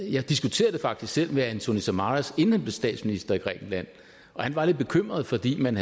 jeg diskuterede det faktisk selv med antonis samaras inden han blev statsminister i grækenland og han var lidt bekymret fordi man